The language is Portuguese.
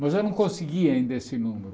Mas eu não conseguia ainda esse número.